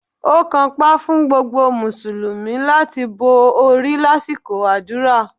Ó kanpá fún gbogbo Mùsùlùmí láti bo orí lásìkò àdúrà